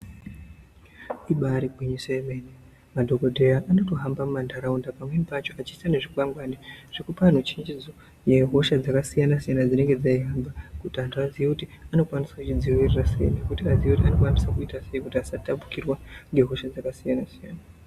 Ibari gwinyiso yemene madhokodheya anotohamba mumandaraunda pamweni pacho achiida nezvi kwangwari zvekupa anhu chenjedzo yehosha dzaka siyana siyana dzinenge dzei hamba kuti antu aziye kuti tozvi dzivirira sei nekuti vadziviriri abokwanisa kuita sei kuti asa tapurirwa nehosha dzaka siyana siyana.